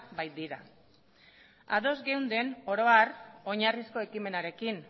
baitira ados geunden oro har oinarrizko ekimenarekin